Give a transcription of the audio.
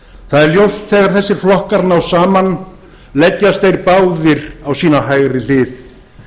það er ljóst þegar þessir flokkar ná saman leggjast þeir báðir á sína hægri hlið